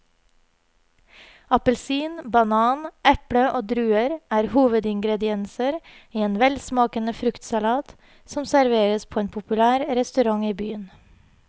Appelsin, banan, eple og druer er hovedingredienser i en velsmakende fruktsalat som serveres på en populær restaurant i byen.